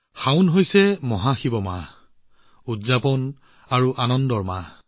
শাওন অৰ্থাৎ মহাশিৱৰ মাহ উৎসৱ আৰু উল্লাসৰ মাহ